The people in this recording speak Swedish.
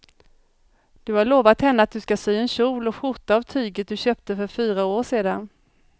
Du har lovat henne att du ska sy en kjol och skjorta av tyget du köpte för fyra år sedan.